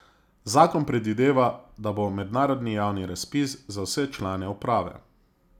Zakon predvideva, da bo mednarodni javni razpis za vse člane uprave.